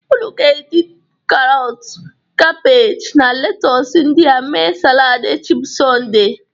Ụnụ ga-eji karọtụ, kabeji na letus ndịa me saladị echi bụ Sọnde.